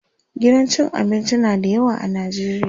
gidan cin abinci na da yawa a Najeriya